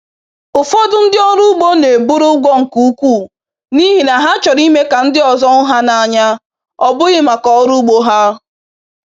Ụfọdụ ndị ọrụ ugbo na-eburu ụgwọ nke ukwuu n’ihi na ha chọrọ ime ka ndị ọzọ hụ ha n’anya, ọ bụghị maka ọrụ ugbo ha.